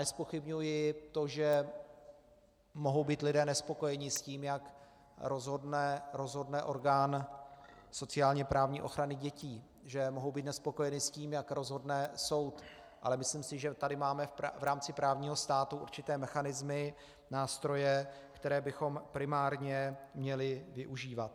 Nezpochybňuji to, že mohou být lidé nespokojeni s tím, jak rozhodne orgán sociálně-právní ochrany dětí, že mohou být nespokojeni s tím, jak rozhodne soud, ale myslím si, že tady máme v rámci právního státu určité mechanismy, nástroje, které bychom primárně měli využívat.